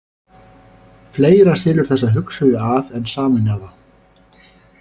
Fleira skilur þessa hugsuði að en sameinar þá.